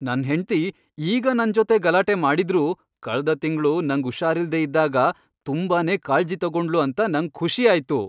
ನನ್ ಹೆಂಡ್ತಿ ಈಗ ನನ್ ಜೊತೆ ಗಲಾಟೆ ಮಾಡಿದ್ರೂ ಕಳ್ದ ತಿಂಗ್ಳು ನಂಗ್ ಉಷಾರಿಲ್ದೆ ಇದ್ದಾಗ ತುಂಬಾನೇ ಕಾಳ್ಜಿ ತಗೊಂಡ್ಳು ಅಂತ ನಂಗ್ ಖುಷಿ ಆಯ್ತು.